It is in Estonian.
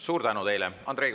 Suur tänu teile!